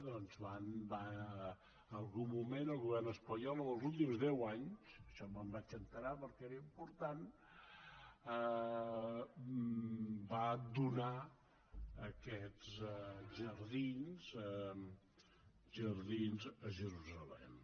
doncs en algun moment el govern espanyol els últims deu anys d’això me’n vaig assabentar perquè era important va donar aquests jardins a jerusalem